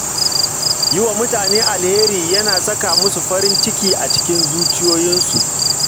Yi wa mutane alheri yana saka musu farin ciki a zuciyoyinsu